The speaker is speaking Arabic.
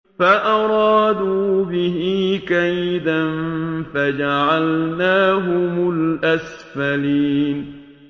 فَأَرَادُوا بِهِ كَيْدًا فَجَعَلْنَاهُمُ الْأَسْفَلِينَ